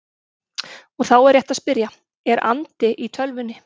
Og þá er rétt að spyrja: Er andi í tölvunni?